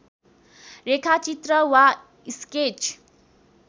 रेखाचित्र वा स्केच